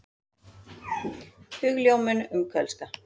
Hugljómun um kölska.